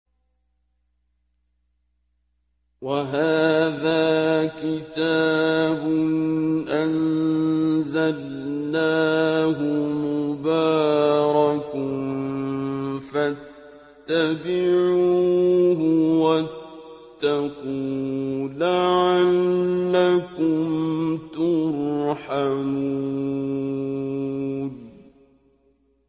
وَهَٰذَا كِتَابٌ أَنزَلْنَاهُ مُبَارَكٌ فَاتَّبِعُوهُ وَاتَّقُوا لَعَلَّكُمْ تُرْحَمُونَ